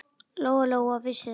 Lóa-Lóa vissi það.